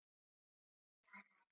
Mikið sem ég sakna hans.